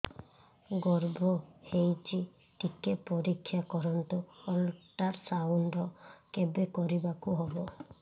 ଗର୍ଭ ହେଇଚି ଟିକେ ପରିକ୍ଷା କରନ୍ତୁ ଅଲଟ୍ରାସାଉଣ୍ଡ କେବେ କରିବାକୁ ହବ